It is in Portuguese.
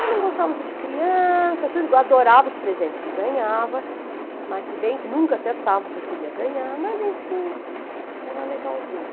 Eu não gostava muito de criança, tudo, eu adorava os presentes que ganhava, mas se bem que nunca acertava o que eu queria ganhar, mas enfim, era legalzinho.